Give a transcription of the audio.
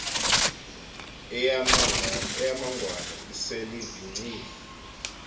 eyamangwane isel ivingcile